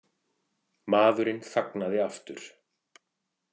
Maðurinn þagnaði aftur.